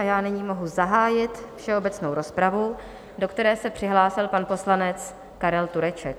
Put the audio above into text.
A já nyní mohu zahájit všeobecnou rozpravu, do které se přihlásil pan poslanec Karel Tureček.